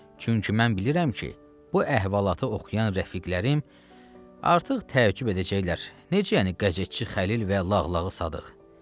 Çünki mən bilirəm ki, bu əhvalatı oxuyan rəfiqlərim artıq təəccüb edəcəklər, necə yəni qəzetçi Xəlil və Lağlağı Sadıq?